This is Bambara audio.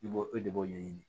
I b'o e de b'o ɲɛɲini